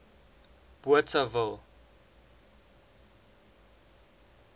bothaville